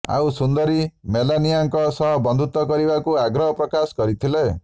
ଆଉ ସୁନ୍ଦରୀ ମେଲାନିଆଙ୍କ ସହ ବନ୍ଧୁତା କରିବାକୁ ଆଗ୍ରହ ପ୍ରକାଶ କରିଥିଲେ